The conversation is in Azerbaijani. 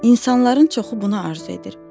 İnsanların çoxu bunu arzu edir.